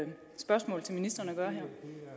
ministeren